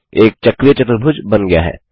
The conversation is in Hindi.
एक चक्रीय चतुर्भुज बन गया है